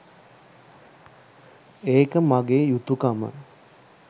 ඒක මගේ යුතුකම.